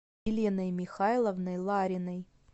еленой михайловной лариной